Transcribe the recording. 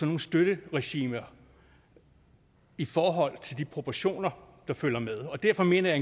nogle støtteregimer i forhold til de proportioner der følger med og derfor mener jeg